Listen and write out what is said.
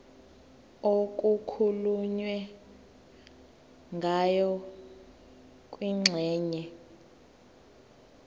okukhulunywe ngayo kwingxenye